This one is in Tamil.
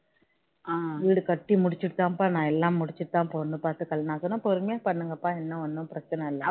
வீடு கட்டி முடிச்சிட்டு தான்ப்பா நான் எல்லாம் முடிச்சிட்டு தான் நான் பொண்ணு பார்த்து கல்யாணம் பண்ணி நான் சொன்னேன் பொறுமையா பண்ணுங்கப்பா என்ன ஒன்னும் பிரச்சனை இல்ல